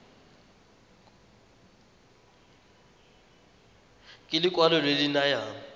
ke lekwalo le le nayang